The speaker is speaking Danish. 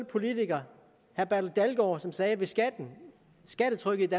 politiker herre bertel dalgaard som sagde at hvis skattetrykket